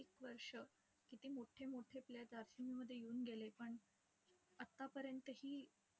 असे करीत करीत promotion आपोआप होत होतं last अठ्ठावीस वर्षे नोकरी करून आपण घरी आलेलोत.